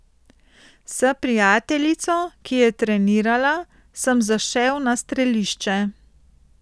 S prijateljico, ki je trenirala, sem zašel na strelišče.